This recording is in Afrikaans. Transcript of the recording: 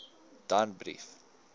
danbrief